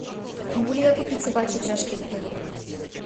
могу ли я купить собачьи упряжки в отеле